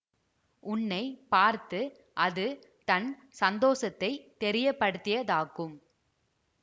உன்னை பார்த்து அது தன் சந்தோஷத்தைத் தெரியப்படுத்தியதாக்கும்